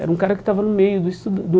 Era um cara que estava no meio do estu do.